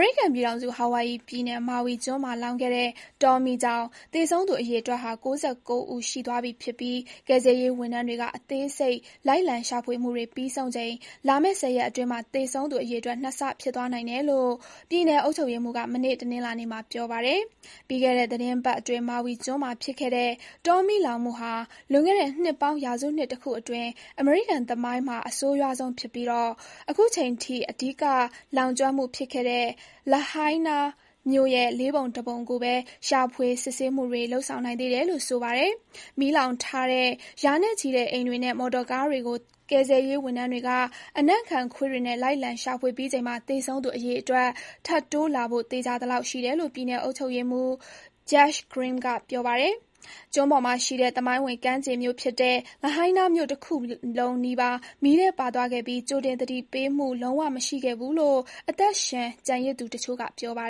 ရိကန်ပြည်ထောင်စု၊ Hawaii ပြည်နယ်၊ Maui ကျွန်းမှာလောင်ခဲ့တဲ့ တောမီးကြောင့် သေဆုံးသူအရေအတွက်ဟာ ၉၉ ဦး ရှိသွားပြီဖြစ်ပြီး ကယ်ဆယ်ရေးဝန်ထမ်းတွေက အသေးစိတ် လိုက်လံ ရှာဖွေမှုတွေ ပြီးဆုံးချိန် လာမယ့် ၁၀ ရက်အတွင်းမှာ သေဆုံးသူအရေအတွက် ၂ ဆ ဖြစ်သွားနိုင်တယ်လို့ ပြည်နယ် အုပ်ချုပ်ရေးမှူးက မနေ့ တနင်္လာနေ့မှာ ပြောပါတယ်။ ပြီးခဲ့တဲ့သီတင်းပတ်အတွင်း Maui ကျွန်းမှာ ဖြစ်ခဲ့တဲ့ တောမီးလောင်မှုဟာ လွန်ခဲ့တဲ့ နှစ်ပေါင်း ရာစုနှစ်တခုအတွင်း အမေရိကန်သမိုင်းမှာ အဆိုးရွားဆုံးဖြစ်ပြီး အခုချိန်ထိ အဓိက လောင်ကျွမ်းမှုဖြစ်ခဲ့တဲ့ Lahaina မြို့ရဲ့ ၄ ပုံတပုံကိုဘဲ ရှာဖွေ စစ်ဆေးမှုတွေ လုပ်ဆောင်နိုင်သေးတယ်လို့ ဆိုပါတယ်။ မီးလောင်ထားတဲ့ ရာနဲ့ချီတဲ့အိမ်တွေနဲ့ မော်တော်ကားတွေကို ကယ်ဆယ်ရေးဝန်ထမ်းတွေက အနံ့ခံခွေးတွေနဲ့ လိုက်လံ ရှာဖွေပြီးချိန်မှာ သေဆုံးသူအရေအတွက် ထပ်တိုးလာဖို့ သေချာသလောက်ရှိတယ်လို့ ပြည်နယ်အုပ်ချုပ်ရေးမှူး Josh Green က ပြောပါတယ်။ ကျွန်းပေါ်မှာရှိတဲ့ သမိုင်းဝင် ကမ်းခြေမြို့ဖြစ်တဲ့ Lahaina မြို့ တမြို့လုံးနီးပါး မီးထဲပါသွားခဲ့ပြီး ကြိုတင် သတိပေးမှု လုံးဝ မရှိခဲ့ဘူးလို့ အသက်ရှင်ကျန်ရစ်သူတချို့က ပြောပါ